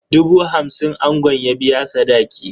Dubu hamsin angon ya biya sadaki.